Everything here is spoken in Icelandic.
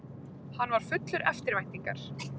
Hann var fullur eftirvæntingar.